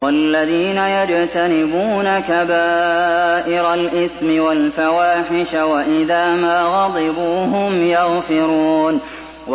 وَالَّذِينَ يَجْتَنِبُونَ كَبَائِرَ الْإِثْمِ وَالْفَوَاحِشَ وَإِذَا مَا غَضِبُوا هُمْ يَغْفِرُونَ